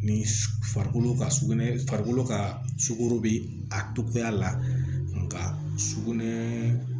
Ni farikolo ka sugunɛ farikolo ka sukoro be a togoya la sugunɛ